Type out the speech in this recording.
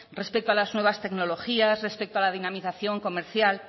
respecto a las nuevas tecnologías respecto a la dinamización comercial